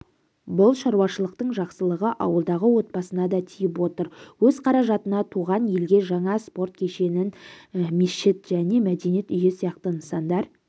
бұл шаруашылықтың жақсылығы ауылдағы отбасына да тиіп отыр өз қаражатына туған елге жаңа спорт кешенін мешіт және мәдениет үйі сияқты нысандар